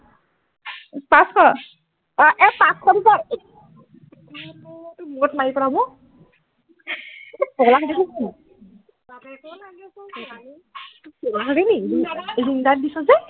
পাঁচশ এই পাঁচশ দি তই মানে তোক মূৰত মাৰি পেলাম অ পগলা হলি নে কিনো বাপেকে লাগিছো ছোৱালীও পগলা হলিনি ring light দিছ যে